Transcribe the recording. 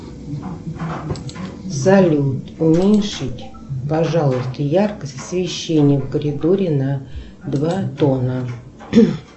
салют уменьшить пожалуйста яркость освещения в коридоре на два тона